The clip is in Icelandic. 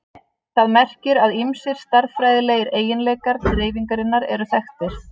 Það merkir að ýmsir stærðfræðilegir eiginleikar dreifingarinnar eru þekktir.